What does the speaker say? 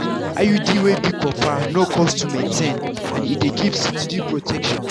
iud wey be copper no cost to maintain and e dey give steady protection.